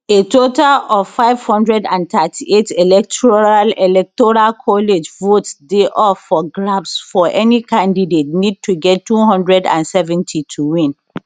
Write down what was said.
a total of 538 electoral electoral college votes dey up for grabs so any candidate need to get 270 to win